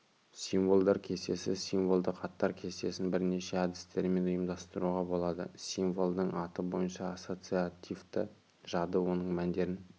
символдар кестесі символдық аттар кестесін бірнеше әдістермен ұйымдастыруға болады символдың аты бойынша ассоциативті жады оның мәндерін